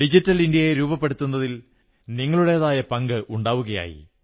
digital ഇന്ത്യയെ രൂപപ്പെടുത്തുന്നതിൽ നിങ്ങളുടേതായ പങ്ക് ഉണ്ടാവുകയായി